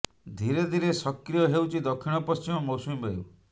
ଧୀରେ ଧୀରେ ସକ୍ରିୟ ହେଉଛି ଦକ୍ଷିଣ ପଶ୍ଚିମ ମୌସୁମୀ ବାୟୁ